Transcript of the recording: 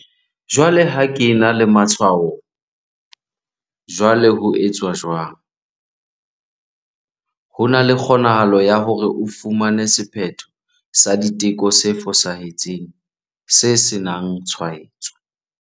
Jwale ho ke ena le matshwao. Jwale ho etswa jwang? etswa jwang? Ho na le kgonahalo ya hore o fumane sephetho sa diteko se fosahetseng se senangtshwaetso.